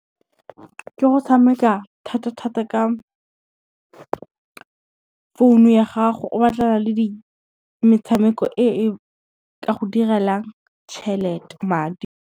Ke go tshameka thata thata ka, founu ya gago o batlana le metshameko e e ka go direlang madi.